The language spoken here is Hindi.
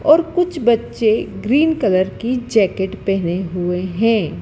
और कुछ बच्चे ग्रीन कलर की जैकेट पहने हुए हैं।